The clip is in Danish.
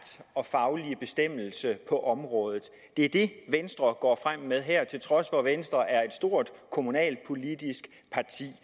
og faglige bestemmelser på området det er det venstre går frem med her til trods for at venstre er et stort kommunalpolitisk parti